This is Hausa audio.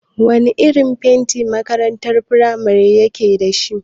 Wana irin fenti makarantar firamare yake dashi?